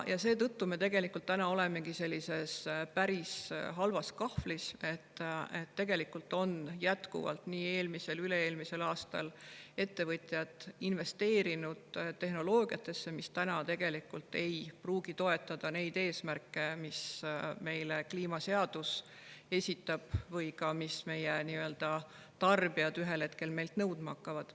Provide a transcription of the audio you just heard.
Seetõttu me olemegi sellises päris halvas kahvlis, et ettevõtjad jätkuvalt nii eelmisel kui ka üle-eelmisel aastal investeerisid tehnoloogiasse, mis tegelikult ei pruugi toetada neid eesmärke, mida kliimaseadus meile esitab või mida ka tarbijad ühel hetkel meilt nõudma hakkavad.